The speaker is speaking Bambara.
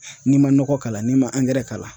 N'i ma nɔgɔ k'a la n'i ma k'a la